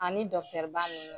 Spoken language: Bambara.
Ani dɔkitɛriba ninnu